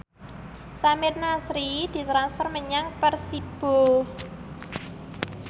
Samir Nasri ditransfer menyang Persibo